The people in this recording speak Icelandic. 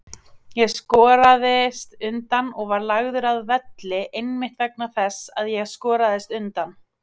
Ég skoraðist undan og var lagður að velli einmitt vegna þess að ég skoraðist undan.